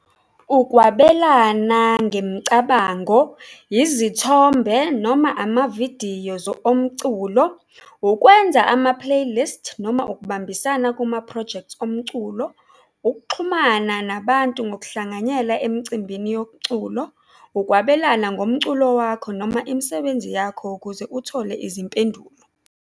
Ukwabelana ngemicabango, izithombe noma amavidiyo omculo, ukwenza ama-playlist noma ukubambisana kumaphrojekthi omculo, ukuxhumana nabantu ngokuhlanganyela emcimbini ukwabelana ngomculo wakho noma imisebenzi yakho ukuze uthole izimpendulo.